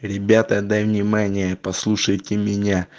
ребята дай внимание послушайте меня